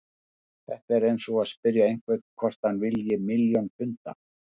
Þetta er eins og að spyrja einhvern hvort hann vilji milljón punda.